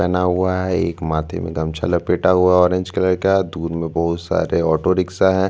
पहना हुआ है एक माथे में गमछा लपेटा हुआ है ऑरेंज कलर का दूर में बहोत सारे ऑटो रिक्शा है।